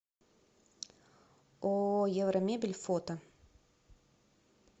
ооо евромебель фото